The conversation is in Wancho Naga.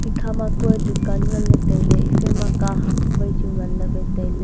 ekhama ma kue dukan nganley tailey ephaima kahak waichu nganley wai tailey.